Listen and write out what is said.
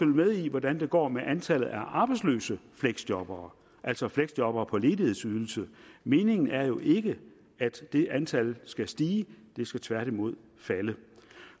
med i hvordan det går med antallet af arbejdsløse fleksjobbere altså fleksjobbere på ledighedsydelse meningen er jo ikke at det antal skal stige det skal tværtimod falde